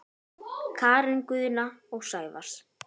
Karen Guðna og Sævars